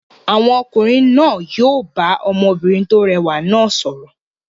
Àwọn ọkùnrin náà yóò bá ọmọbìnrin tó rẹwà náà sọ̀rọ̀.